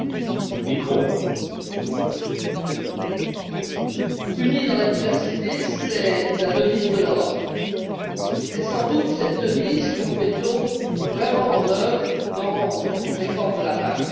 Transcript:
Monsieur le Président, Unie dans la diversité c'est la devise de l'Europe. C'est sans doute cette devise que nous mettons vraiment en œuvre dans cette réforme de la PAC.